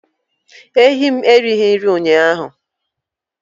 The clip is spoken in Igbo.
Ehi m erighị nri ụnyaahụ